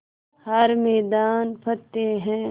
हर मैदान फ़तेह